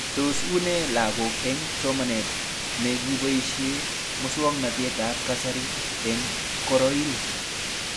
Tos unee lakok eng' somanet ne kipoishe muswognatet ab kasari eng' korail